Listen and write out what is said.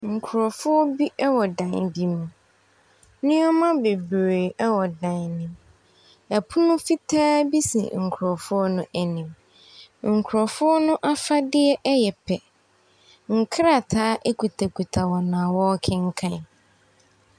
Nkurɔfoɔ bi wɔn dan bi mu. Nneɛma bebree wɔ dan no mu. Pono fitaa bi si nkurɔfɔo no anim. Nkurɔfoɔ no afadeɛ yɛ pɛ. Nkrataa kitakita wɔn a wɔrekenkan.